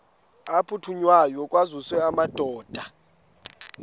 aphuthunywayo kwaziswe amadoda